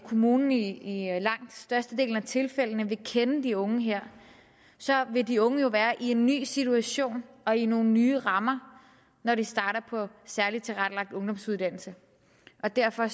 kommunen i i langt størstedelen af tilfældene vil kende de unge her vil de unge jo være i en ny situation og i nogle nye rammer når de starter på særligt tilrettelagt ungdomsuddannelse og derfor